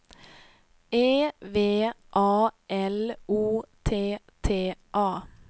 E V A L O T T A